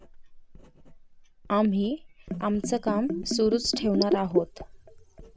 आम्ही आमचं काम सुरूच ठेवणार आहोत.